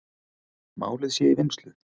Málið sé í vinnslu.